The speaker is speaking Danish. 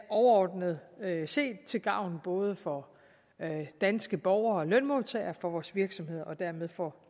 overordnet set til gavn både for danske borgere og lønmodtagere for vores virksomheder og dermed for